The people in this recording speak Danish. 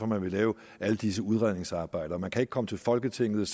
man vil lave alle disse udredningsarbejder man kan ikke komme til folketinget